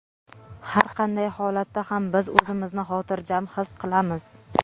Har qanday holatda ham biz o‘zimizni xotirjam his qilamiz.